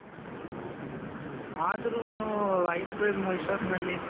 ಆದ್ರೂನು ice cream ಇಷ್ತೊತ್ನಲ್ಲಿ